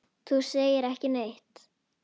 Þú segir ekki neitt.